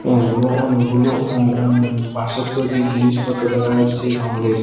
উম এবং অনেকগুলো উহম উম বাঁশের তৈরি জিনিসপত্র দেখা যাচ্চে রঙের।